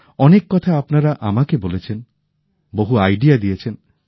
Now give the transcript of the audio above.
অনেক কথা আপনারা আমাকে বলেছেন বহু ধারণা দিয়েছেন